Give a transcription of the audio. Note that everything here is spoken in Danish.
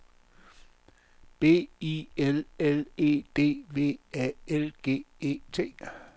B I L L E D V A L G E T